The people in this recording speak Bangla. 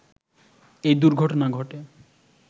এই দূর্ঘটনা ঘটে